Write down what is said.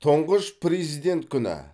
тұңғыш президент күні